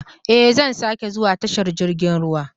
Ee, zan sake zuwa tashar jirgin ruwa.